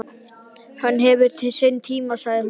Allt hefur sinn tíma, sagði hún.